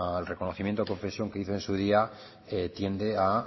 el reconocimiento o confesión que hizo en su día tiende a